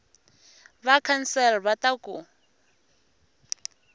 va council va ta ku